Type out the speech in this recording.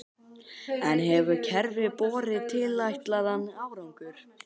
En hefur kerfið borið tilætlaðan árangur?